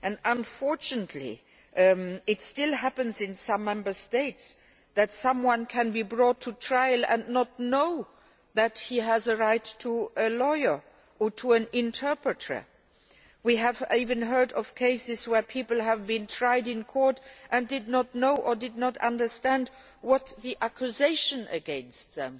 Unfortunately it still happens in some Member States that someone can be brought to trial and not know that he has a right to a lawyer or to an interpreter. We have even heard of cases where people have been tried in court and did not know or did not understand what the accusation against them